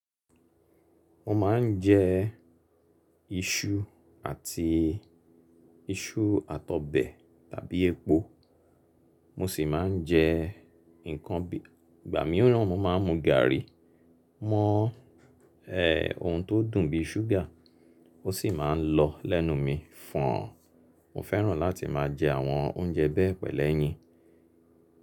Mo má ń jẹ iṣu àti isu àti òbe tàbí epo. Mo sì má ń jẹ nǹkan bí, ìgbà mìíràn mo má ń mu garri. Mo ohùn to dùn bí sugar, ó sì máa ń lo lẹ́nu mi fon. Mo fẹ́ràn láti má jẹ àwọn oúnjẹ be pẹ̀lú ẹyin.